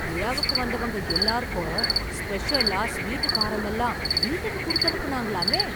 விழாவுக்கு வந்தவங்க எல்லாருக்கும், ஸ்பெஷலா ஸ்வீட், காரமெல்லாம் வீட்டுக்கு குடுத்து அனுப்புனாங்களாமே...